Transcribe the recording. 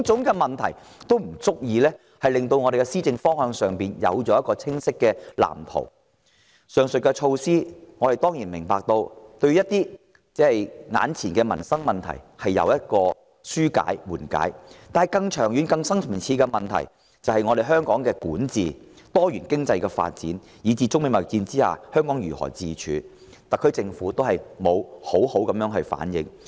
我們當然明白，上述措施有助緩解一些眼前的民生問題。惟更長遠、更深層次的問題，亦即香港的管治，多元經濟發展，以至中美貿易戰下香港如何自處的問題，特區政府都沒有好好回應。